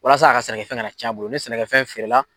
Walasa a ka sɛnɛkɛfɛn kana n'a ca bolo ni sɛnɛkɛfɛn feerela